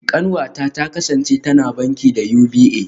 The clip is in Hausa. Kanwata ta kasance tana banki da UBA